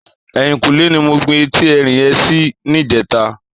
Èyínkúnlé ni mó gbin éti èrín yèn si nijètá